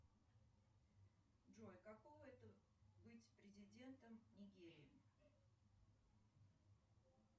джой каково это быть президентом нигерии